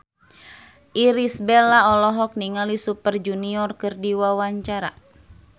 Irish Bella olohok ningali Super Junior keur diwawancara